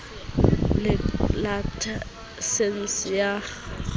le lakesense ya kgaso ya